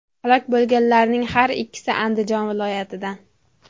Halok bo‘lganlarning har ikkisi Andijon viloyatidan.